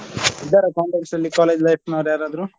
ಇದರ contacts ನಲ್ಲಿ college life ನವ್ರು ಯಾರಾದ್ರೂ.